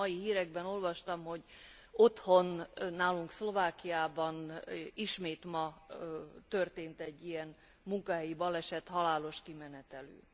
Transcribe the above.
Épp a mai hírekben olvastam, hogy otthon, nálunk Szlovákiában ismét ma történt egy ilyen munkahelyi baleset, halálos kimenetelű.